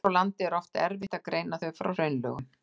Hér á landi er oft erfitt að greina þau frá hraunlögum.